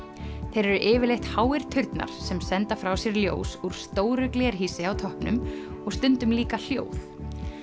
þeir eru yfirleitt háir turnar sem senda frá sér ljós úr stóru glerhýsi á toppnum og stundum líka hljóð